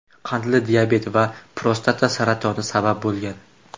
qandli diabet va prostata saratoni sabab bo‘lgan.